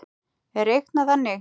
er reiknað þannig